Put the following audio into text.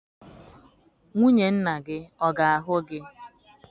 Nwunye nna gị ọ ga-ahụ gị?